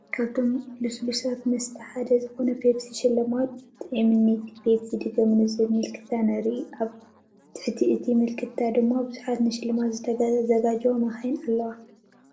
ካብቶም ልስሉሳት መስተ ሓደ ዝኾነ ፔፕሲ ሽልማት ጥዒሙኒ ፔፕሲ ድገሙኒ ዝብል ምልክታ ንርኢ፡፡ ኣብ ትሕቲ እቲ ምልክታ ድማ ብዙሓት ንሽልማት ዝተዘጋጀዋ መካይን ኣለዋ፡፡